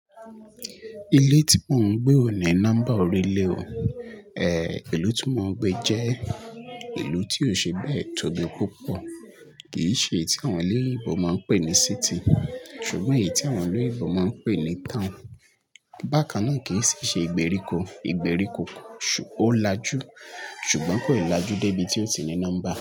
Ilé tí mo ń gbé ó ní nọ́mbà orí ilé o, eh, ìlú tí mo ń gbé jẹ́ ìlú tí ó ṣe bẹ́ẹ̀ tóbi púpọ̀, kìí ṣe ti àwọn olóyìnbó máa ń pè ní city ṣùgbọ́n èyí tí àwọn orílẹ̀-èdè ibo máa ń pè ní town. Bákà náà kìí ṣe ìgbèríko, ìgbèríko ó láju ṣùgbọ́n kò láju dé ibi tí ó ti ní nọ́mbà.